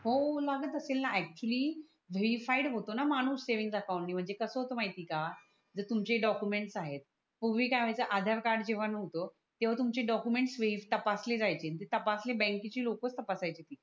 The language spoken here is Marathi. हो लागत असेल णा ऐक्चुली रिपाइट होतो णा माणूस सेव्हिंग अकाउंटणी म्हणजे कस होतो माहिती आहे का जे तुमचे डॉक्यूमेंट आहे पूर्वी काय वाहयच आधार कार्ड जेवा नोव्हत तेव्हा तुमचे डॉक्यूमेंट नीट तपासले जायचे ते तपसणी बँक के चे लोकच तपासायचे